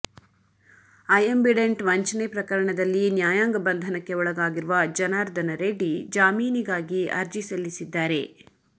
ಅಯಂಬಿಡೆಂಟ್ ವಂಚನೆ ಪ್ರಕರಣದಲ್ಲಿ ನ್ಯಾಯಾಂಗ ಬಂಧನಕ್ಕೆ ಒಳಗಾಗಿರುವ ಜನಾರ್ದನ ರೆಡ್ಡಿ ಜಾಮೀನಿಗಾಗಿ ಅರ್ಜಿ ಸಲ್ಲಿಸಿದ್ದಾರೆ